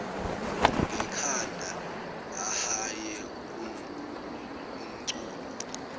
ngekhanda ahaye umculo